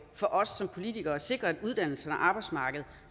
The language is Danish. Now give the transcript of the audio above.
for os som politikere at sikre at uddannelserne og arbejdsmarkedet